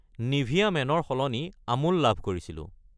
Nivea Men ৰ সলনি আমুল লাভ কৰিছিলোঁ।